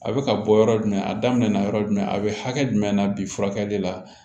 A bɛ ka bɔ yɔrɔ jumɛn a daminɛna yɔrɔ jumɛn a bɛ hakɛ jumɛn na bi furakɛli la